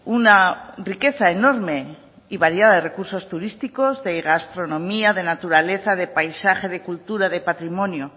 una riqueza enorme y variada de recursos turísticos de gastronomía de naturaleza de paisaje de cultura de patrimonio